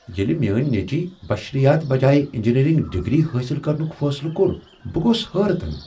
ییٚلہ میٲنۍ نیٚچِوِ بشرِیات بجایہ انجینیرنگ ڈگری حٲصل کرنک فٲصلہٕ کوٚر، بہٕ گوس حٲرتن ۔